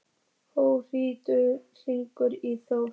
Hróðný, hringdu í Þór.